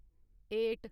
eight